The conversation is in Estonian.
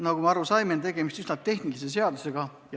Nagu me aru saime, tegemist on üsna tehnilise seadusega.